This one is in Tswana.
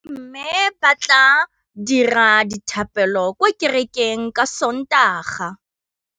Bommê ba tla dira dithapêlô kwa kerekeng ka Sontaga.